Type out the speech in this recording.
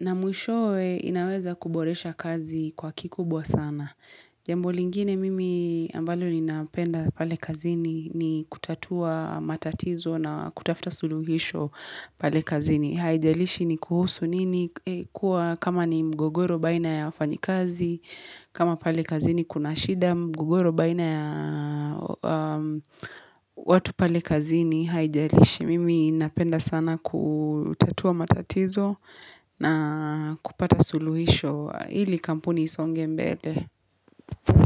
Na mwishowe inaweza kuboresha kazi kwa kikubwa sana. Jambo lingine mimi ambalo ninapenda pale kazini ni kutatua matatizo na kutafuta suluhisho pale kazini. Haijalishi ni kuhusu nini kuwa kama ni mgogoro baina ya wafanyikazi kama pale kazi ni kunashida mgogoro baina ya watu pale kazi ni haijalishi Mimi napenda sana kutatua matatizo na kupata suluhisho Hili kampuni isonge mbele.